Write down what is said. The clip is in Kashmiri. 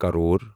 کَرٛور